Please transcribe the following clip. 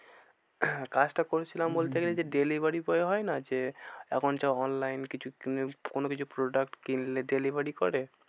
আহ কাজটা করেছিলাম বলতে গেলে যে delivery boy হয় না যে, এখন যে online কিছু কোনো কিছু product কিনলে delivery করে